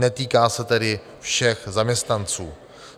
Netýká se tedy všech zaměstnanců.